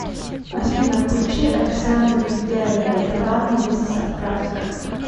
афина включи александра федяева товарный бизнес от практика